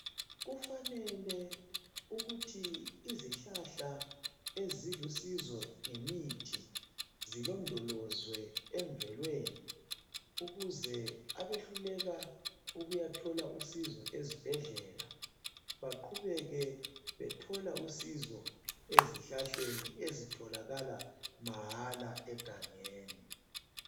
Kufanele ukuthi izihlahla ezilusizo ngemithi zilondolozwe emvelweni ukuze abehluleka ukuyathola usizo ezibhedlela baqhubeke bethola usizo ezihlahleni ezitholakala mahala egangeni.